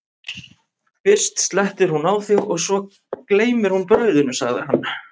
fyrst slettir hún á þig og svo gleymir hún brauðinu, sagði hann.